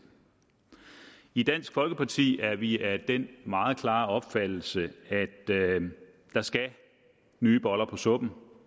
i dansk folkeparti er vi af den meget klare opfattelse at der skal nye boller på suppen